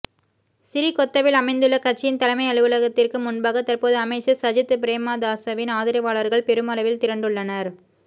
சிறிகொத்தவில் அமைந்துள்ள கட்சியின் தலைமை அலுவலகத்திற்கு முன்பாக தற்போது அமைச்சர் சஜித் பிரேமதாசவின் ஆதரவாளர்கள் பெருமளவில் திரண்டுள்ளனர்